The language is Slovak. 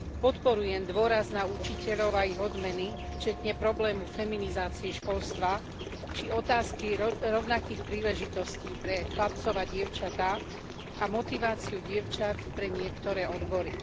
Podporujem dôraz na učiteľov a ich odmeny vrátane problému feminizácie školstva, či otázky rovnakých príležitostí pre chlapcov a dievčatá a motiváciu dievčat pre niektoré odbory.